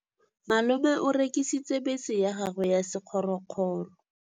Malome o rekisitse bese ya gagwe ya sekgorokgoro.